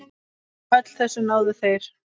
Öllu þessu náðu þeir.